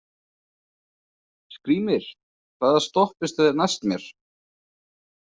Skrýmir, hvaða stoppistöð er næst mér?